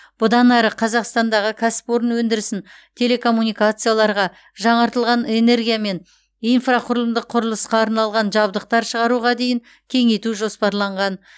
бұдан әрі қазақстандағы кәсіпорын өндірісін телекоммуникацияларға жаңартылатын энергия мен инфрақұрылымдық құрылысқа арналған жабдықтар шығаруға дейін кеңейту жоспарланған